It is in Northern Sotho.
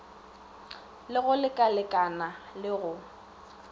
le go lekalekana le go